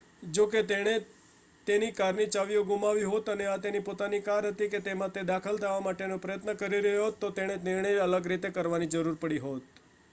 જો તેણે તેની કારની ચાવીઓ ગુમાવી હોત અને આ તેની પોતાની કાર હતી કે જેમાં તે દાખલ થવા માટેનો પ્રયત્ન કરી રહ્યો હતો તો તેણે તેનો નિર્ણય અલગ રીતે કરવાની જરૂર પડી હોત